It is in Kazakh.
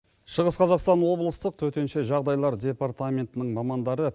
шығыс қазақстан облыстық төтенше жағдайлар департаментінің мамандары